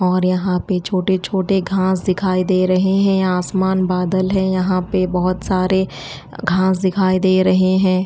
और यहाँ पे छोटे छोटे घास दिखाई दे रहे हैं आसमान बादल है यहाँ पे बहुत सारे घास दिखाई दे रहे हैं।